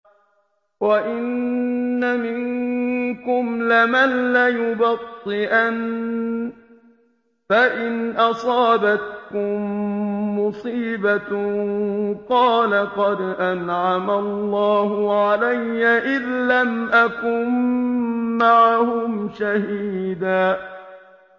وَإِنَّ مِنكُمْ لَمَن لَّيُبَطِّئَنَّ فَإِنْ أَصَابَتْكُم مُّصِيبَةٌ قَالَ قَدْ أَنْعَمَ اللَّهُ عَلَيَّ إِذْ لَمْ أَكُن مَّعَهُمْ شَهِيدًا